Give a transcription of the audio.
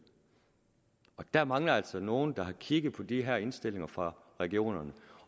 der mangler altså nogen der har kigget på de her indstillinger fra regionerne